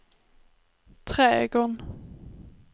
trädgården